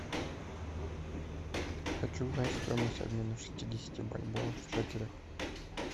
хочу знать стоимость обмена шестидесяти бальбоа в шекелях